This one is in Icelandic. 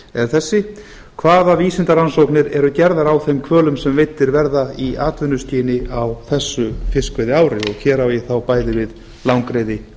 er þessi hvaða vísindarannsóknir eru gerðir á þeim hvölum sem veiddir verða í atvinnuskyni á þessu fiskveiðiári og hér á ég á bæði við langreyði